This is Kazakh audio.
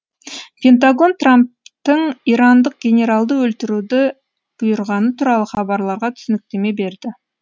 пентагон трамптың ирандық генералды өлтіруді бұйырғаны туралы хабарларға түсініктеме берді